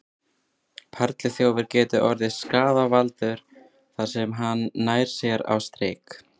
Perluþjófur getur orðið skaðvaldur þar sem hann nær sér á strik.